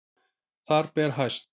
Þar ber hæst